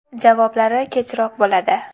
Javoblari kechroq bo‘ladi.